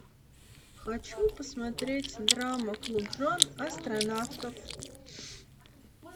хочу посмотреть драма клуб жен астронавтов